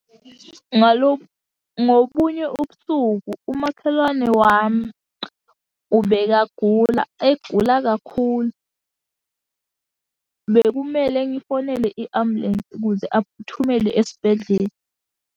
Ngobunye ubusuku umakhelwane wami ubekagula, egula kakhulu. Bekumele ngifonele i-ambulensi ukuze aphuthumele esibhedlela.